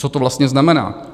Co to vlastně znamená?